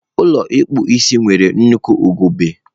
Ụlọ mposi nwere nnukwu ugegbe.